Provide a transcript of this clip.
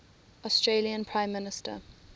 australian prime minister